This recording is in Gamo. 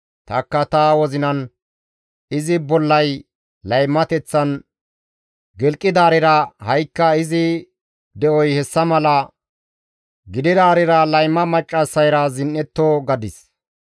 Tanikka ta wozinan, ‹Izi bollay laymateththan gilqidaarira, ha7ikka izi de7oy hessa mala gididaarira layma maccassayra zin7etto› gadis.